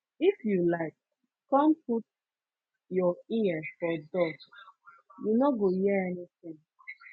if you like come put your ear for door you no go hear anything